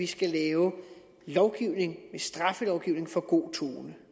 skal laves lovgivning straffelovgivning for god tone